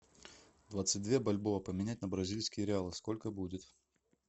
двадцать две бальбоа поменять на бразильские реалы сколько будет